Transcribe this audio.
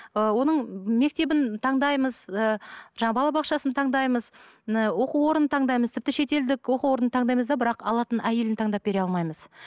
ы оның мектебін таңдаймыз ы жаңа балабақшасын таңдаймыз оқу орнын таңдаймыз тіпті шетелдік оқу орнын таңдаймыз да бірақ алатын әйелін таңдап бере алмаймыз